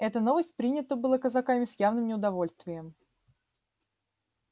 эта новость принята была казаками с явным неудовольствием